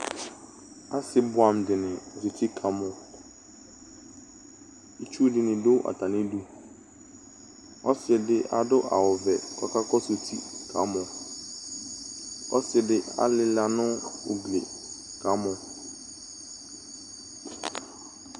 ase boɛ amo dini zati kamɔ itsu dini do atami du ɔse di ado awu vɛ k'ɔka kɔsu uti kamɔ ɔse di alila no ugli kamɔ